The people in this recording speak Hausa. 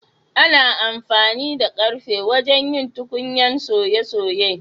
Ana amfani da karfe wajen yin tukunyan soye-soye.